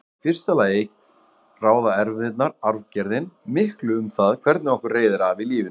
Í fyrsta lagi ráða erfðirnar, arfgerðin, miklu um það hvernig okkur reiðir af í lífinu.